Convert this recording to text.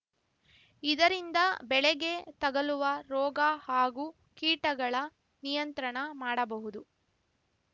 ಇದರಿಂದ ಬೆಳೆಗೆ ತಗಲುವ ರೋಗ ಹಾಗೂ ಕೀಟಗಳ ನಿಯಂತ್ರಣ ಮಾಡಬಹುದು